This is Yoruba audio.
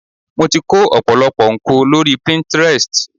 Mo ti kó ọ̀pọ̀lọpọ̀ ńko lórí Pinterest.